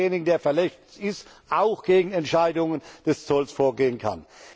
h., dass derjenige, der verletzt ist, auch gegen Entscheidungen des Zolls vorgehen kann.